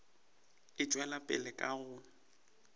e tšwela pele ka go